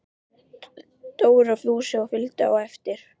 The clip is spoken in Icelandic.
Dóri og Fúsi fylgdu á eftir.